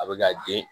A bɛ ka den